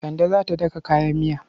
Kande za ta daka kayan miya.